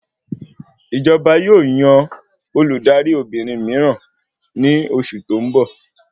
Ìjọba yóò yan Olùdarí Obìnrin míràn ní oṣù tó n bọ